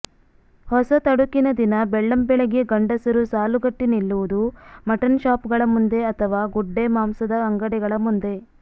ಹೊಸತಡುಕಿನ ದಿನ ಬೆಳ್ಳಂಬೆಳಗ್ಗೆ ಗಂಡಸರು ಸಾಲುಗಟ್ಟಿ ನಿಲ್ಲುವುದು ಮಟ್ಟನ್ ಶಾಪುಗಳ ಮುಂದೆ ಅಥವಾ ಗುಡ್ಡೆ ಮಾಂಸದ ಅಂಗಡಿಗಳ ಮುಂದೆ